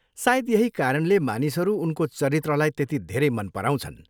सायद यही कारणले मानिसहरू उनको चरित्रलाई त्यति धेरै मन पराउँछन्।